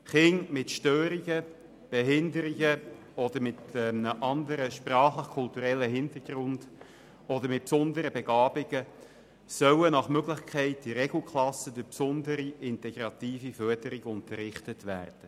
Kinder mit Störungen, Behinderungen oder einem anderen sprachlichkulturellen Hintergrund oder mit besonderen Begabungen sollen nach Möglichkeit in Regelklassen mithilfe besonderer, integrativer Förderung unterrichtet werden.